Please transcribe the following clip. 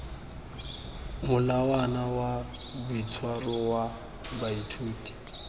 molawana wa boitshwaro wa baithuti